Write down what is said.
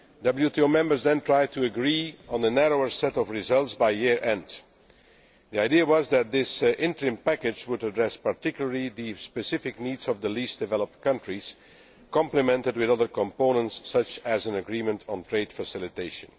WTO members then tried to agree on a narrower set of results by year end. The idea was that this interim package would address particularly the specific needs of the Least Developed Countries, complemented with other components, such as an agreement on Trade Facilitation.